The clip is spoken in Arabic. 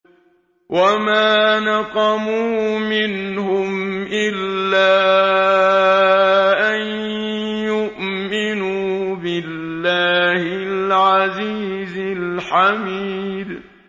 وَمَا نَقَمُوا مِنْهُمْ إِلَّا أَن يُؤْمِنُوا بِاللَّهِ الْعَزِيزِ الْحَمِيدِ